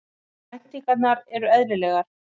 Væntingarnar eru eðlilegar